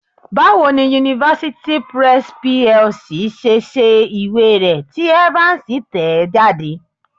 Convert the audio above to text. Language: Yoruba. Báwo ni University Press PLC ṣe ṣe ìwé rẹ tí Evans tẹ̀ ẹ́ jáde?